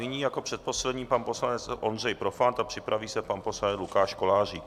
Nyní jako předposlední pan poslanec Ondřej Profant a připraví se pan poslanec Lukáš Kolářík.